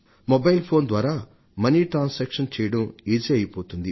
mobile phone ద్వారా money transaction చేయడం సులభమైపోతుంది